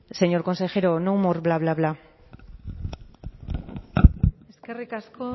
señor consejero no more bla bla bla eskerrik asko